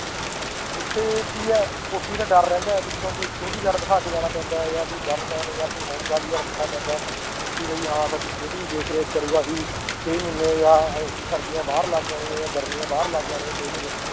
ਉੱਥੇ ਕੀ ਹੈ ਕੋਠੀ ਦਾ ਡਰ ਰਹਿੰਦਾ ਪਿੱਛੋਂ ਕੋਈ security guard ਬਿਠਾ ਕੇ ਜਾਣਾ ਪੈਂਦਾ ਹੈ ਜਾਂ ਕੋਈ gunman ਜਾਂ ਕੋਈ ਰੱਖਣਾ ਪੈਂਦਾ ਹੈ ਕਿ ਵੀ ਹਾਂ ਸਾਡੀ ਦੇਖ ਰੇਖ ਕਰੇਗਾ ਅਸੀਂ ਛੇ ਮਹੀਨੇ ਜਾਂ ਸਰਦੀਆਂ ਬਾਹਰ ਲਾ ਕੇ ਆਉਣੀਆਂ ਜਾਂ ਗਰਮੀਆਂ ਬਾਹਰ ਲਾ ਕੇ ਆਉਣੀਆਂ ਛੇ ਮਹੀਨੇ